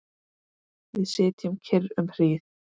Við sitjum kyrr um hríð.